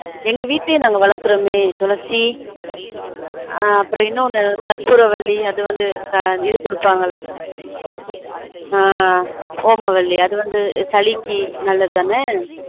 எங்க வீட்லயே நாங்க வளர்க்குறமே துளசி அஹ் அப்புறம் இன்னொன்னு கற்பூரவள்ளி அது வந்து இது குடுப்பாங்கல ஆன் ஒமவள்ளி அது வந்து சளிக்கு நல்லது தானே